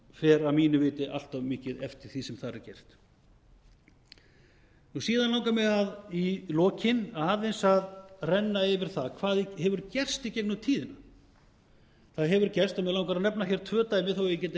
fer að mínu viti allt of mikið eftir því sem þar er gert síðan langar mig í lokin aðeins að renna yfir það hvað hefur gerst í gegnum tíðina það hefur gerst og mig langar að nefna hér tvö dæmi þó að ég geti nefnt